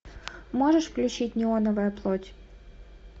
можешь включить неоновая плоть